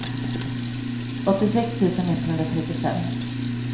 åttiosex tusen etthundratrettiofem